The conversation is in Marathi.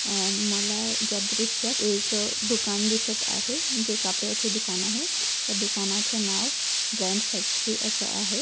अं मला ज्या दृश्यात एक अं दुकान दिसत आहे जे कापड्याचे दुकान आहे. या दुकानाचं नाव ब्रॅन्ड फॅक्टरी असं आहे.